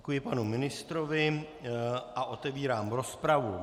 Děkuji panu ministrovi a otevírám rozpravu.